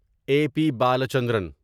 a P Balachandran